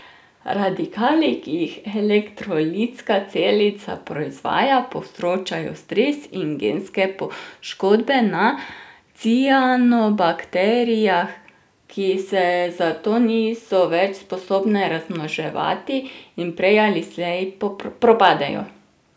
Radikali, ki jih elektrolitska celica proizvaja, povzročajo stres in genske poškodbe na cianobakterijah, ki se zato niso več sposobne razmnoževati in prej ali slej propadejo.